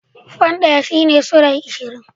Fan ɗaya shine sulai ashirin.